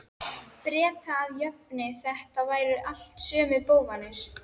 Breta að jöfnu- þetta væru allt sömu bófarnir.